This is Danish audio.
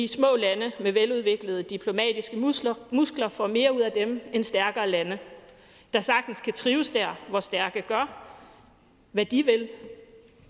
små lande med veludviklede diplomatiske muskler muskler får mere ud af det end stærkere lande der sagtens kan trives der hvor stærke gør hvad de vil